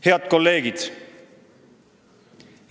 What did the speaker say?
Head kolleegid!